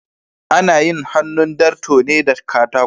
Ana yin hannun darto ne da katako.